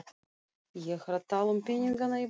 Ég er að tala um peningana í bankabókinni.